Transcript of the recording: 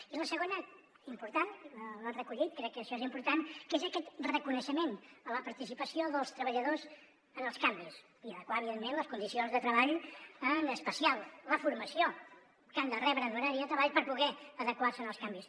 i la segona important l’ha recollit crec que això és important que és aquest reconeixement a la participació dels treballadors en els canvis i adequar evidentment les condicions de treball en especial la formació que han de rebre en horari de treball per poder adequar se als canvis